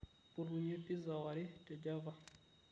mpotunye pizza ware te Java